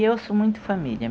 E eu sou muito família.